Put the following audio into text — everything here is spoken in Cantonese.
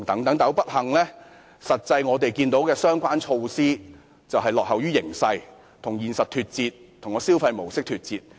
可是，不幸地，相關措施顯示香港落後於形勢，與現實脫節，與消費模式脫節。